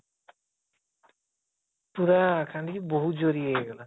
ପୁରା କାନ୍ଦିକି ବହୁତ ଜୋର ରେ ଇଏ ହେଇଗଲା